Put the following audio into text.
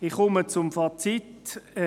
Ich komme zum Fazit.